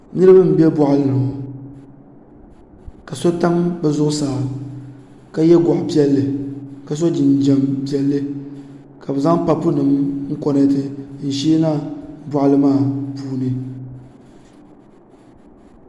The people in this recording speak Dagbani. niraba n bɛ boɣali ni ŋo ka so tam bi zuɣusaa ka yɛ goɣa piɛlli ka so jinjɛm piɛlli ka bi zaŋ papu nim n konɛti n sheena boɣali maa puuni